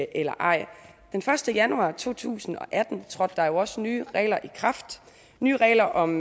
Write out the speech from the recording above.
eller ej den første januar to tusind og atten trådte der jo også nye regler i kraft nye regler om